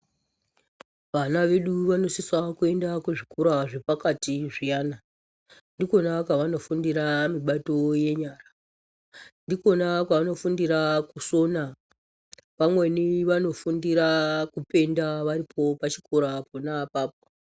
Vana vedu vanosisa kuenda kuzvikora zvepakati zviyana. Ndikwona kwavanofundira mibato yenyara. Ndikwona kwavanofundira kusona, pamweni vanofundira kupenda varipo pachikora pona apapo.